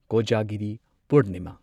Kojagiri Purnima